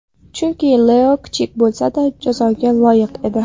Chunki Leo kichik bo‘lsa-da jazoga loyiq edi.